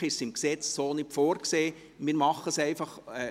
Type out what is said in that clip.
Eigentlich ist es nicht so im Gesetz vorgesehen, wir machen es einfach.